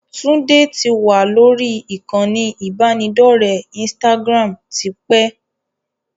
Tunde tí wá lórí ìkànnì ibanidọ̀rẹ́ Instagram tipẹ́